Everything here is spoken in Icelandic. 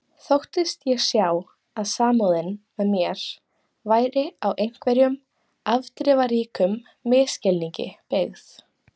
Þóttist ég sjá að samúðin með mér væri á einhverjum afdrifaríkum misskilningi byggð.